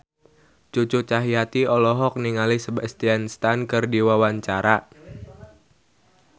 Cucu Cahyati olohok ningali Sebastian Stan keur diwawancara